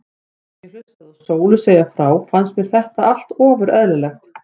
Meðan ég hlustaði á Sólu segja frá fannst mér þetta allt ofur eðlilegt.